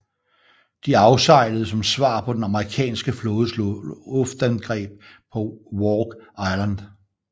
De afsejlede som svar på den amerikanske flådes luftangreb på Wake Island